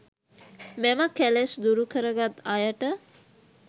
මෙම කෙලෙස් දුරුකරගත් අයට